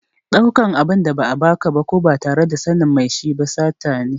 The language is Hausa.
Ɗaukan abin da ba a ba ka ba ko ba tare da sanin mai shi ba sata ne.